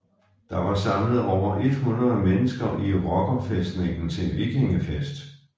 Der var samlet over 100 mennesker i rockerfæstningen til vikingefest